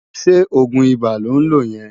Sé ógun Ibá lón ló yen?